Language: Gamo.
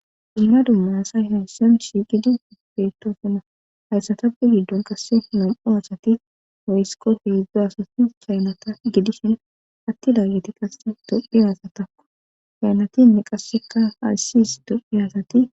Inna dumma asay hayssan shiqidi ispetosinna hayssatappe giddon qasse nam7o hasati oyesko heezda asati kaynata gidishin atti laageti qasse dophi hasatakko kaynatinne qasseka ayssis dophi asati